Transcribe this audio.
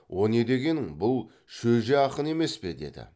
о не дегенің бұл шөже ақын емес пе деді